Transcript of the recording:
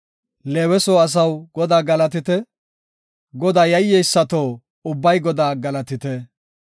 Leewe soo asaw Godaa galatite; Godaa yayyeysato ubbay Godaa galatite.